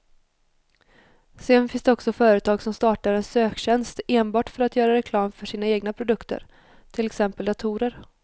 Sedan finns det också företag som startar en söktjänst enbart för att göra reklam för sina egna produkter, till exempel datorer.